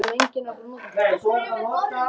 Mér verður hugsað til vikunnar minnar í Sviss.